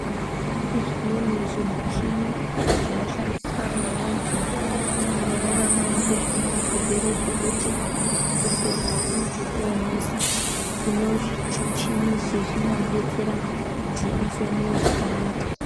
Kune zvimweni zvimuchini zvinoshandiswa neantu anorarama ngezvimweni zvirwere zvekuti kufema kunenge koonetsa. Hino zvimuchini izvi zvinovadetsera kuti afeme zvakanaka.